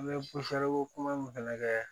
An bɛ kuma min fana kɛ